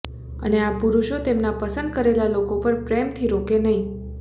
અને આ પુરુષો તેમના પસંદ કરેલા લોકો પર પ્રેમથી રોકે નહીં